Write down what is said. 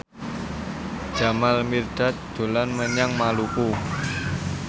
Jamal Mirdad dolan menyang Maluku